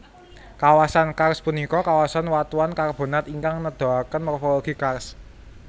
Kawasan karst punika kawasan watuan karbonat ingkang nedahaken morfologi karst